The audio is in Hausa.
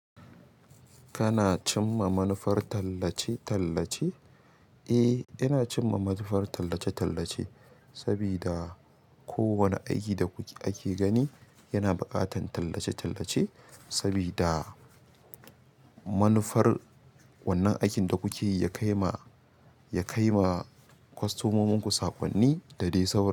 Kana cimma manufar tallace-tallace? Eh, ina cimma manufar tallace-tallace sabida kowane aiki da kuke ake gani yana buƙatar tallace-tallace sabida manufar wannan aikin da kuke yi ya kai ma, ya kai ma kwastomominku saƙonni da dai sau.